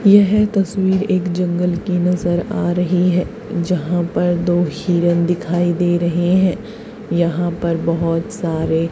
येह तस्वीर एक जंगल की नज़र आ रही है जहाँ पर दो हिरन दिखाई दे रहे हैं यहाँ पर बहोत सारे--